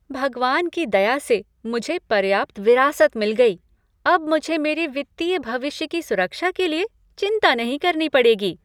भगवान की दया से मुझे पर्याप्त विरासत मिल गयी। अब मुझे मेरे वित्तीय भविष्य की सुरक्षा के लिए चिंता नहीं करनी पड़ेगी।